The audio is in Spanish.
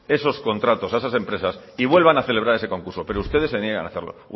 esos contratos a esas empresas y vuelvan a celebrar ese concurso pero ustedes se niegan a hacerlo